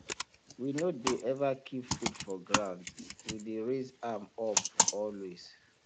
we no dey ever keep food for ground we dey raise am up always